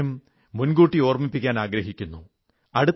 ഒരു കാര്യം മുൻകൂട്ടി ഓർമ്മിപ്പിക്കാനാഗ്രഹിക്കുന്നു